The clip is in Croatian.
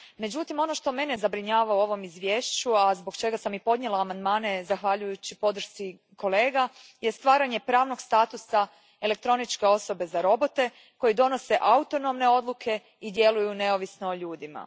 Međutim, ono što mene zabrinjava u ovom izvješću, a zbog čega sam i podnijela amandmane zahvaljujući podršci kolega, jest stvaranje pravnog statusa elektroničke osobe za robote koji donose autonomne odluke i djeluju neovisno o ljudima.